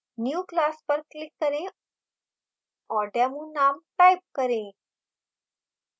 new> class पर click करें और demo name type करें